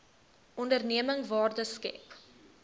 onderneming waarde skep